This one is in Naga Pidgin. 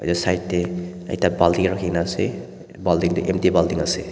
yete side tae ekta baltin rakhina ase bultin tu empty bultin ase.